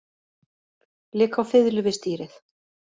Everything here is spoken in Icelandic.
Lék á fiðlu við stýrið